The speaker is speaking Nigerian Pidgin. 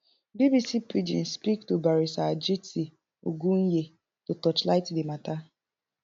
bbc pidgin speak to barrister jiti ogunye to torchlight di mata